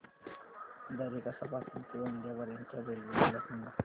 दरेकसा पासून ते गोंदिया पर्यंत च्या रेल्वे मला सांगा